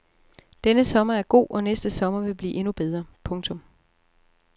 Denne sommer er god og næste sommer vil blive endnu bedre. punktum